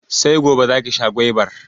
Sai gobe za ki sha gwaibar